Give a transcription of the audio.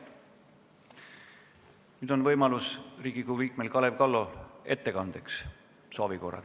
Nüüd on Riigikogu liikmel Kalev Kallol võimalus soovi korral sõna võtta.